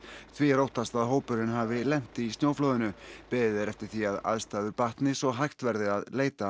því er óttast að hópurinn hafi lent í flóðinu beðið er eftir því að aðstæður batni svo hægt verði að leita